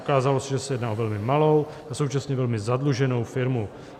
Ukázalo se, že se jedná o velmi malou a současně velmi zadluženou firmu.